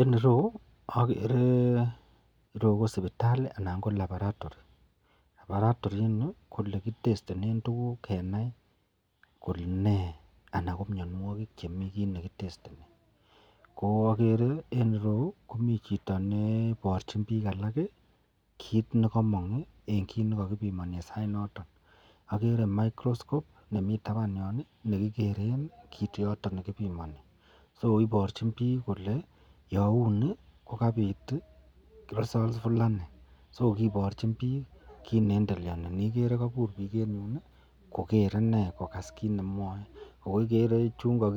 En ireyu agere KO sibitali alan ko laboratory ,ak laboratory ini koyelekitestenen tuguknkenai Kole ne anan komianwagik chemii kit nekitestenenbkoagere en ireyu komiten Chito nebarchin bik alak kit nekamong en kit nekakibimani en sait noton agere microscope nimetin taban yon nekigeren kit yoton nekibimani (so)ibarchin bik olekibimonoitoi yaunibkokabit results Fulani (so) kebarchin bik kit neendeleani neigere kobkabur bik en ireyun Koger inei akokase kit nekimwae ako igere tuguk